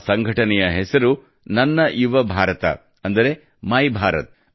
ಈ ಸಂಘಟನೆಯ ಹೆಸರು ನನ್ನ ಯುವ ಭಾರತ ಅಂದರೆ ಮೈಭಾರತ್